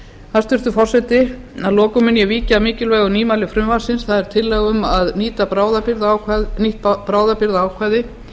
hæstvirtur forseti að lokum mun ég víkja að mikilvægu nýmæli frumvarpsins tillögu um að nýtt bráðabirgðaákvæði